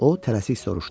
O tələsik soruşdu.